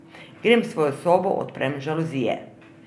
Grem v svojo sobo, odprem žaluzije.